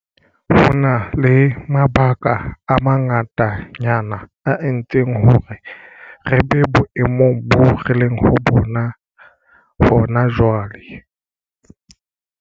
Ho na le mabaka a manga tanyana a entseng hore re be boemong boo re leng ho bona hona jwale.